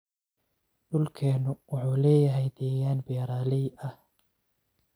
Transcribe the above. Dhulkeenu wuxuu leeyahay deegaan beeralay ah.